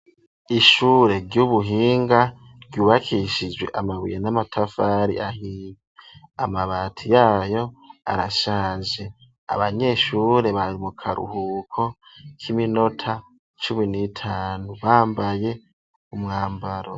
Ishure ry'ubuhinga ryubakishijwe amabuye n'amatavari ahiye amabati yaryo arashaje abanyeshure bari mu karuhuko k'iminota cumi n'itanu bambaye umwambaro.